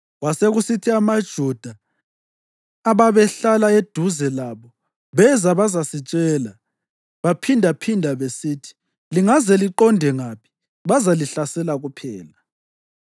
Kwasekusithi amaJuda ababehlala eduze labo beza bazasitshela baphindaphinda besithi, “Lingaze liqonde ngaphi bazalihlasela kuphela.”